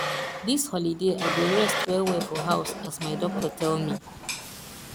dis holiday i go rest wellwell for house as my doctor tell me